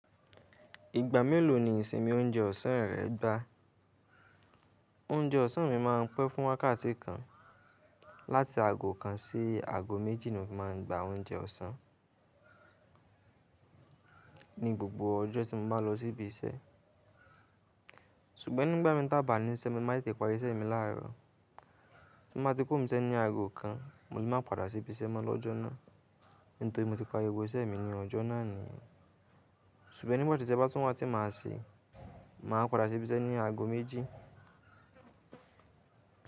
Ìgbà mélòó ni ìsinmi oúnjẹ ọ̀sán rẹ̀ gba? Oúnjẹ ọ̀sán mi máa ń pẹ́ fún wákàtí kan. Láti aago kan sí aago méjì ni mo fi máa ń gba oúnjẹ ọ̀sán, ní gbogbo ọjọ́ tí mo bá lọ síbi iṣẹ́. Ṣùgbọ́n nígbà mi tí a bá níṣe, mo má tete parí iṣẹ́ mi láàárọ̀. Tí mo bá ti kuro ni ibi iṣẹ́ ní aago kan, mo lè má padà sí ibi iṣẹ́ mọ́ lọ́jọ́ náà. Nítorí mo ti parí gbogbo iṣẹ́ mi ní ọjọ́ náà ni. Ṣùgbọ́n nígbà tí iṣẹ́ bá tún wá tí máa ṣe, màá padà sí ibi iṣẹ́ ní aago méjì.